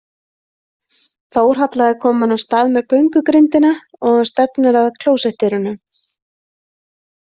Þórhalla er komin af stað með göngugrindina og stefnir að klósettdyrunum.